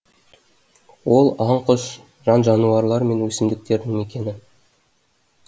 ол аң құс жан жануарлар мен өсімдіктердің мекені